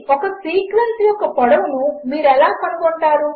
ఒకసీక్వెన్స్యొక్కపొడవునుమీరుఎలాకనుగొంటారు